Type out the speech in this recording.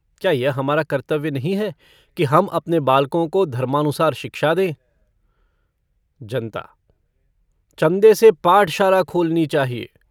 क्या यह हमारा कर्तव्य नहीं है कि हम अपने बालकों को धर्मानुसार शिक्षा दें? जनता-चन्दे से पाठशाला खोलनी चाहिए।